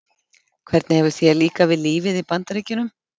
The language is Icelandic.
Hvernig hefur þér líkað við lífið í Bandaríkjunum?